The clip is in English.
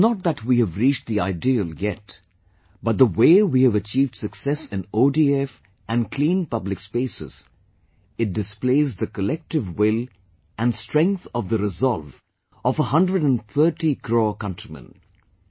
It is not that we have reached the ideal yet, but the way we have achieved success in ODF & clean public spaces, it displays the collective will & strength of the resolve of a hundred & thirty crore countrymen